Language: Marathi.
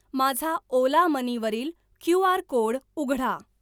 माझा ओला मनी वरील क्यू.आर. कोड उघडा.